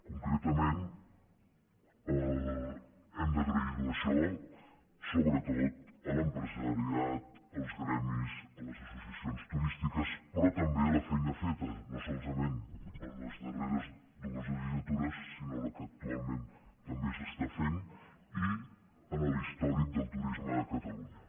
concretament hem d’agrair ho això sobretot a l’empresariat als gremis a les associacions turístiques però també a la feina feta no solament en les darreres dues legislatures sinó la que actualment també s’està fent i a l’històric del turisme de catalunya